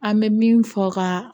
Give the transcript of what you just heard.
An bɛ min fɔ ka